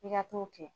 I ka t'o kɛ